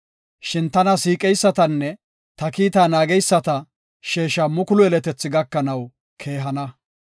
Shin tana siiqeysatanne ta kiita naageysata sheesha mukulu yeletethi gakanaw keehana.